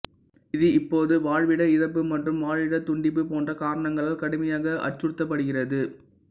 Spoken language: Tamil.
இது இப்போது வாழ்விட இழப்பு மற்றும் வாழிடத்துண்டிப்பு போன்ற காரணங்களால் கடுமையாக அச்சுறுத்தப்படுகிறது